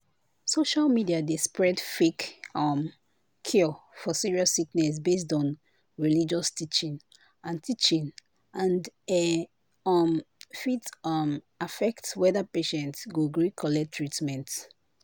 social media dey spread fake um cure for serious sickness based on religious teaching and teaching and e um fit um affect whether patient go gree collect treatment.